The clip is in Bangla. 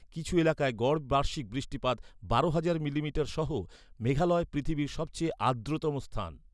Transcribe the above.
কিছু এলাকায় গড় বার্ষিক বৃষ্টিপাত বারো হাজার মিলিমিটারসহ, মেঘালয় পৃথিবীর সবচেয়ে আর্দ্রতম স্থান।